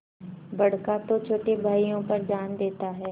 बड़का तो छोटे भाइयों पर जान देता हैं